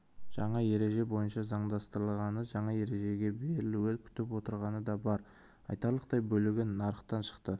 жаңа ереже бойынша заңдастырылғаны жаңа ережеге берілуді күтіп отырғаны да бар айтарлықтай бөлігі нарықтан шықты